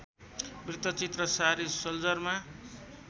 वृत्तचित्र सारी सोल्जरमा